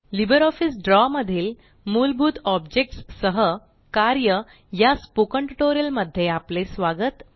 LibreOffice द्रव मधील मुलभूत ऑब्जेक्ट्स सह कार्य या स्पोकन ट्यूटोरियल मध्ये आपले स्वागत